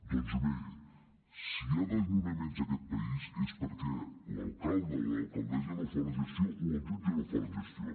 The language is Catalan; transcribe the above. doncs bé si hi ha desnonaments en aquest país és perquè l’alcalde o l’alcaldessa no fa la gestió o el jutge no fa la gestió